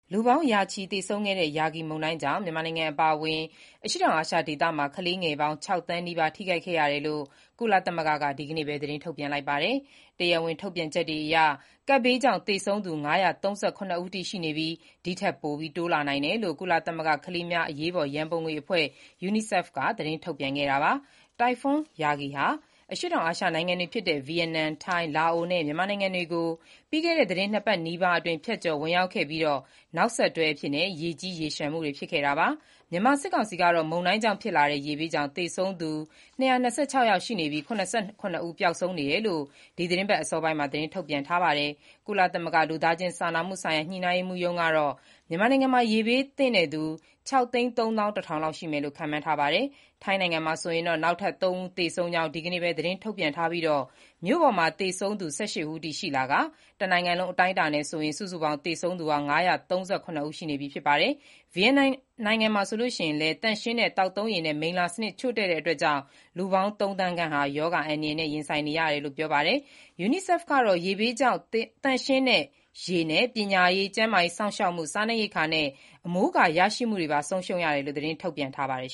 လူပေါင်းရာချီ သေဆုံးခဲ့တဲ့ Yagi မုန်တိုင်းကြောင့် မြန်မာနိုင်ငံ အပါအဝင် အရှေ့တောင်အာရှ ဒေသမှာ ကလေးငယ်ပေါင်း ၆ သန်းနီးပါးထိခိုက်ခဲ့ရတယ်လို့ ကုလသမဂ္ဂ က ဒီနေ့ပဲ သတင်းထုတ်ပြန်ခဲ့ပါတယ်။ တရားဝင် ထုတ်ပြန်ချက်တွေအရ ကပ်ဘေးကြောင့် သေဆုံးသူ ၅၃၇ ဦးအထိ ရှိနေပြီး၊ ဒီထက်ပိုတိုးလာနိုင်တယ်လို့လည်း ကုလသမဂ္ဂ ကလေးများအရေးပေါ် ရန်ပုံငွေအဖွဲ့ UNICEF ကသတင်းထုတ်ပြန်ခဲ့တာပါ။ တိုင်ဖွန်း Yagi ဟာ အရှေ့တောင်အာရှ နိုင်ငံတွေဖြစ်တဲ့ ဗီယက်နမ်၊ ထိုင်း၊ လာအိုနဲ့ မြန်မာနိုင်ငံတွေကို ပြီးခဲ့တဲ့ သီတင်းနှစ်ပတ်နီးပါးအတွင်း ဖြတ်ကျော်ဝင်ရောက်ခဲ့ပြီး၊ နောက်ဆက်တွဲ ရေကြီး၊ ရေလျှံမှုတွေ ဖြစ်ခဲ့တာပါ။ မြန်မာ စစ်ကောင်စီကတော့ မုန်တိုင်းကြောင့်ဖြစ်လာတဲ့ ရေဘေးကြောင့် သေဆုံးသူ ၂၂၆ ယောက်ရှိနေပြီး ၇၇ ဦးပျောက်ဆုံးနေတယ်လို့ ဒီသီတင်းပတ် အစောပိုင်းမှာ သတင်းထုတ်ပြန်ထားပါတယ်။ ကုလသမဂ္ဂ လူသားချင်းစာနာမှုဆိုင်ရာ ညှိနှိုင်းရေးမှူးရုံး (UNOCHA) ကတော့ မြန်မာနိုင်ငံမှာ ရေဘေးဒဏ်သင့်သူ ၆၃၁,၀၀၀ လောက်ရှိမယ်လို့ ခန့်မှန်းထားကြောင်းပြောထားပါတယ်။ ထိုင်းနိုင်ငံမှာတော့ နောက်ထပ် ၃ ဦးသေဆုံးကြောင်း ဒီနေ့ပဲ သတင်းထုတ်ပြန်ထားပြီး၊ မြို့ပေါ်မှာ သေဆုံးသူ ၁၈ ဦးထိရှိလာကာ၊ တနိုင်ငံလုံးအတိုင်းအတာနဲ့ စုစုပေါင်း သေဆုံးသူ ၅၃၇ ဦး ရှိနေပြီဖြစ်ပါတယ်။ ဗီယက်နမ်မှာဆိုရင်လည်း သန့်ရှင်းတဲ့ သောက်သုံးရေနဲ့ မိလ္လာစနစ် ချို့တဲ့မှုကြောင့် လူပေါင်း သုံးသန်းခန့်ဟာ ရောဂါအန္တရာယ်နဲ့ ရင်ဆိုင်နေရတယ်လို့ ပြောပါတယ်။ UNICEF ကတော့ ရေဘေးကြောင့် သန့်ရှင်းတဲ့ရေ၊ ပညာရေး၊ ကျန်းမာရေးစောင့်ရှောက်မှု၊ စားနပ်ရိက္ခာနဲ့ အမိုးအကာရရှိမှုတွေပါ ဆုံးရှုံးခဲ့ရတယ်လို့ သတင်းထုတ်ပြန်ထားပါတယ်